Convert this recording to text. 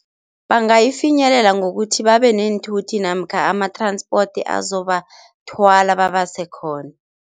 Bangayifinyelela ngokuthi babeneenthuthi namkha ama-transport azobathwala babasekhona.